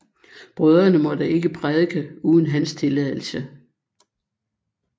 Brødrene måtte ikke prædike uden hans tilladelse